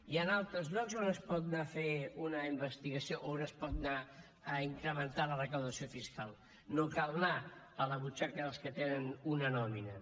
hi han altres llocs on es pot anar a fer una investigació on es pot anar a incrementar la recaptació fiscal no cal anar a la butxaca dels que tenen una nòmina